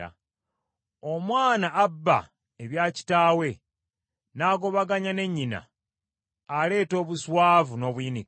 Omwana abba ebya kitaawe n’agobaganya ne nnyina, aleeta obuswavu n’obuyinike.